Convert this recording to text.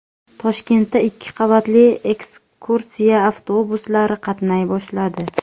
Toshkentda ikki qavatli ekskursiya avtobuslari qatnay boshladi .